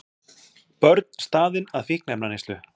Börn staðin að fíkniefnaneyslu